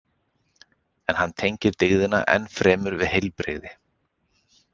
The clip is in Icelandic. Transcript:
En hann tengir dygðina enn fremur við heilbrigði.